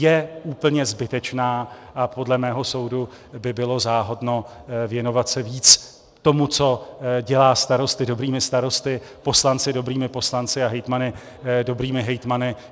Je úplně zbytečná a podle mého soudu by bylo záhodno věnovat se víc tomu, co dělá starosty dobrými starosty, poslance dobrými poslanci a hejtmany dobrými hejtmany.